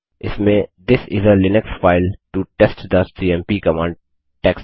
इसमें this is a Linux file to test the CMP command text है